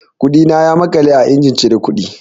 Kuɗina ya maƙale a injin cire kuɗi.